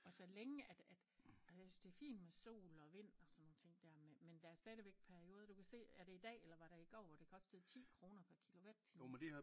Og så længe at at og jeg synes det fin med sol og vind og sådan nogle ting der men men der stadigvæk perioder du kan se er det i dag eller var det i går hvor det kostede 10 kroner per kilowatttime